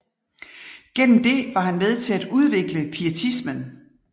Gennem det var han med til at udvikle pietismen